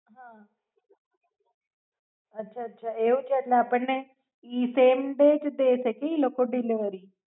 અચ્છા એવું છે એટલે આપણને એ SDD છે કે ઈ લોકો ડિલવરી